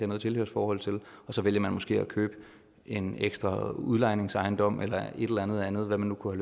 noget tilhørsforhold til og så vælger man måske at købe en ekstra udlejningsejendom eller et eller andet andet hvad man nu kunne